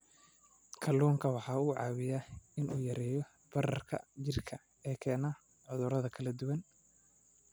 Kalluunku waxa uu caawiyaa in uu yareeyo bararka jidhka ee keena cudurro kala duwan.